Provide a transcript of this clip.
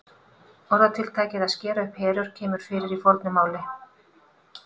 Orðatiltækið að skera upp herör kemur fyrir í fornu máli.